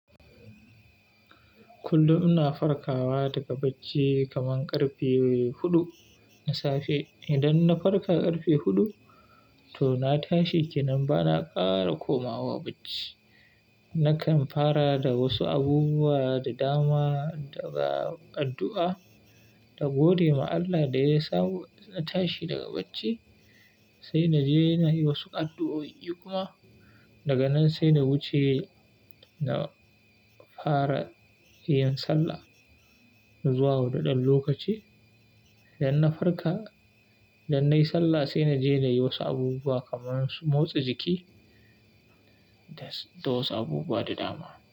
Kullum ina farkawa daga bacci kaman ƙarfe huɗu na safe. Idan na farka ƙarfe huɗu, to na tashi kenan bana ƙara komawa bacci. Nakan fara da wasu abubuwa da dama daga addu'a, da gode ma Allah da ya sawo na tashi daga bacci, sai na je na yi wasu addu'o'i kuma daga nan sai na wuce na fara yin sallah. Zuwa huɗuɗan lokaci, idan na farka, idan nayi sallah sai na je na yi wasu abubuwa kaman su motsa jiki da wasu abubuwa da dama.